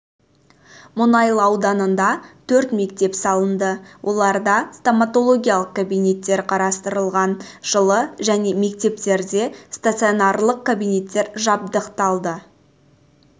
мұнайлы ауданында төрт мектеп салынды оларда стоматологиялық кабинеттер қарастырылған жылы және мектептерде стационарлық кабинеттер жабдықталды жылы